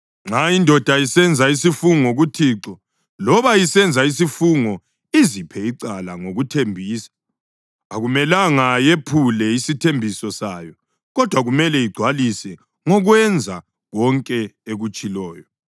Nxa indoda isenza isifungo kuThixo loba isenza isifungo iziphe icala ngokuthembisa, akumelanga yephule isithembiso sayo kodwa kumele igcwalise ngokwenza konke ekutshiloyo.